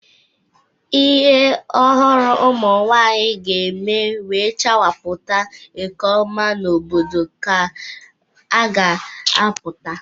Ihe ọhụrụ ụmụnwanyị ga-eme wee chawapụta nke ọma n'obodo ka a ga-apụta.